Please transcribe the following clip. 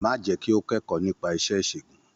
Má jẹ́ kí ó kẹ́kọ̀ọ́ nípa iṣẹ́ ìṣègùn.